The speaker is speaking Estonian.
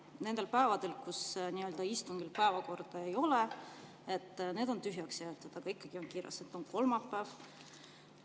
Need päevad, kus istungi päevakorda ei ole, on tühjaks jäetud, aga ikkagi on kirjas, et on kolmapäev.